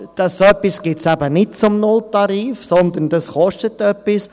So etwas gibt es eben nicht zum Nulltarif, sondern das kostet etwas.